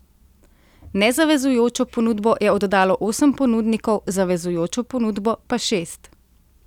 Nezavezujočo ponudbo je oddalo osem ponudnikov, zavezujočo ponudbo pa šest.